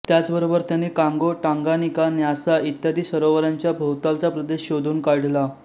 त्याचबरोबर त्यांनी Congo Tanganyika Nyasa इत्यादी सरोवरांच्या भोवतालचा प्रदेश शोधून काढला